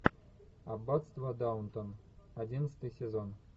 аббатство даунтон одиннадцатый сезон